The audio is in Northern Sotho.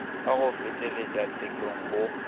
ka go felegetša tshekong go